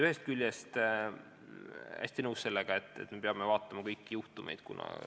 Ühest küljest olen hästi nõus, et me peame vaatama kõiki juhtumeid.